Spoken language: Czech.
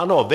Ano, vy.